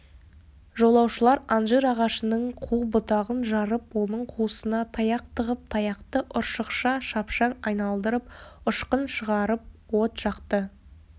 жолаушылар анжир ағашының қу бұтағын жарып оның қуысына таяқ тығып таяқты ұршықша шапшаң айналдырып ұшқын шығарып от жақты